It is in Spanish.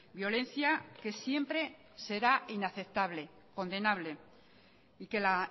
violencia que siempre será inaceptable condenable y que la